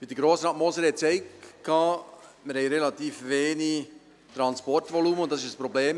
Wie Grossrat Moser sagte, haben wir relativ wenig Transportvolumen, und das ist ein Problem.